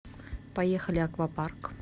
поехали аквапарк